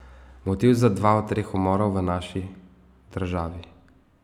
Motiv za dva od treh umorov v naši državi.